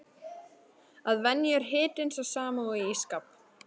Að venju er hitinn sá sami og í ís skáp.